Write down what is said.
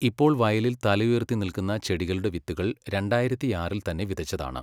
ഇപ്പോൾ വയലിൽ തലയുയർത്തി നിൽക്കുന്ന ചെടികളുടെ വിത്തുകൾ രണ്ടായിരത്തിയാറിൽ തന്നെ വിതച്ചതാണ്!